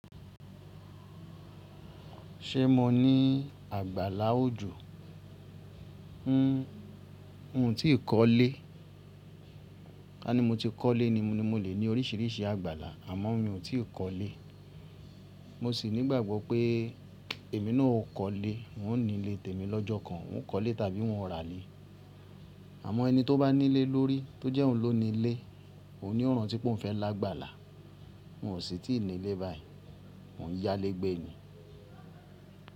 Ṣé mo ní àgbàlá òjò? N tí kọ́lé, ká ní mo ti kọ́lé ni mo, ni mo lè ní oríṣìíríṣìí àgbàlá, àmọ́ mi ò tí kọ́lé. Mo sì ní ìgbàgbọ́ pé èmi náà ó kọ́lé, òun ní lè tèmi lọ́jọ́ kan, òun kọ́lé tàbí òun rà lé. Àmọ́ ẹni tó bá ní ilé lórí, tó jẹ́ òun ló ni lé, òun ni ó rántí pé óun fẹ́ lágbàlá. N ò sí tí ní ilé báyìí, mo n yá lé gbé ni.